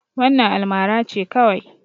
Wannan almara ce kawai.